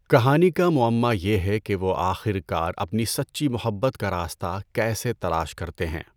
کہانی کا معمہ یہ ہے کہ وہ آخر کار اپنی سچی محبت کا راستہ کیسے تلاش کرتے ہیں۔